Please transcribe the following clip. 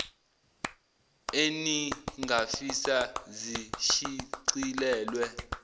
enin gafisa zishicilelwe